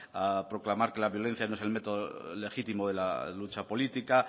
proclamar que la violencia no es el método legítimo de la lucha política